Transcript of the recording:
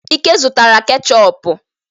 Ike zụtara ketchọpụ.